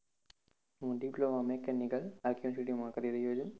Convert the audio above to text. હું diploma mechanicalRKuniversity માં કરી રહ્યો છુ.